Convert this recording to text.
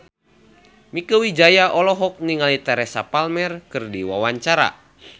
Mieke Wijaya olohok ningali Teresa Palmer keur diwawancara